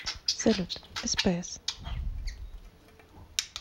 салют спс